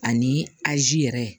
Ani azi yɛrɛ